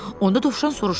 Onda Dovşan soruşdu: